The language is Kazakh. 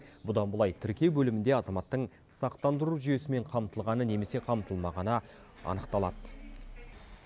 бұдан былай тіркеу бөлімінде азаматтың сақтандыру жүйесімен қамтылғаны немесе қамтылмағаны анықталады